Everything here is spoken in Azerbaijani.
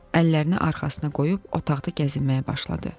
Əllərini arxasına qoyub otaqda gəzinməyə başladı.